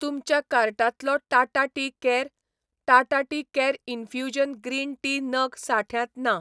तुमच्या कार्टांतलो Tata tea care, Tata tea care infusion green tea नग साठ्यांत ना